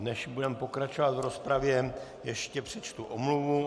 Než budeme pokračovat v rozpravě, ještě přečtu omluvu.